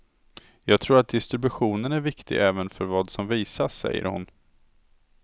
Jag tror att distributionen är viktig även för vad som visas, säger hon.